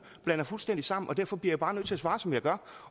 blander fuldstændig sammen og derfor bliver jeg bare nødt til at svare som jeg gør